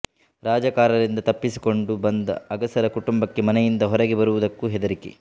ರಜಾಕಾರರಿಂದ ತಪ್ಪಿಸಿಕೊಂಡು ಬಂದ ಅಗಸರ ಕುಟುಂಬಕ್ಕೆ ಮನೆಯಿಂದ ಹೊರಗೆ ಬರುವುದಕ್ಕೂ ಹೆದರಿಕೆ